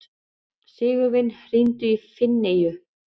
Sigurvin, hringdu í Finneyju.